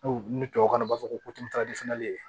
ni tubabukan na u b'a fɔ ko